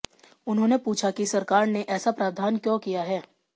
उन्होंने पूछा कि सरकार ने ऐसा प्रावधान क्यों किया है